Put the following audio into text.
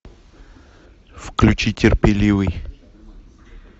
включи терпеливый